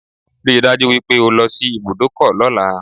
Rí i dájú wípé o lọ sí ibùdọ́kọ̀ lọ́la